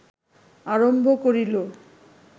আরম্ভ করিল